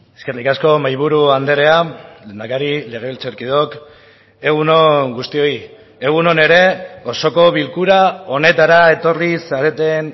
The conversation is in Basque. eskerrik asko mahaiburu andrea lehendakari legebiltzarkideok egun on guztioi egun on ere osoko bilkura honetara etorri zareten